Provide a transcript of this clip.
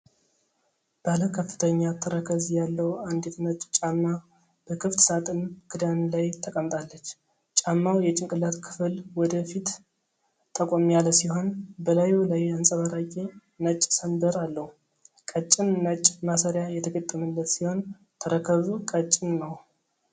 ባለ ከፍተኛ ተረከዝ ያለው አንዲት ነጭ ጫማ በክፍት ሣጥን ክዳን ላይ ተቀምጣለች። ጫማው የጭንቅላት ክፍል ወደ ፊት ጠቆም ያለ ሲሆን፣ በላዩ ላይ አንጸባራቂ ነጭ ሰንበር አለው። ቀጭን ነጭ ማሰሪያ የተገጠመለት ሲሆን፣ ተረከዙ ቀጭን ነው።